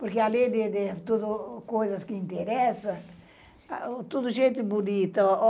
Porque além de de coisas que interessam, tudo gente bonita.